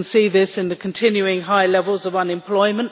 We can see this in the continuing high levels of unemployment